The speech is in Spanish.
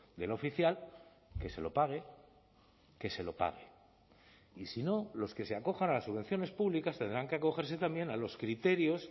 del oficial que se lo pague que se lo pague y si no los que se acojan a las subvenciones públicas tendrán que acogerse también a los criterios